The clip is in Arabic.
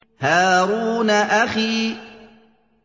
هَارُونَ أَخِي